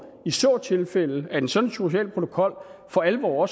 i så tilfælde at en sådan social protokol for alvor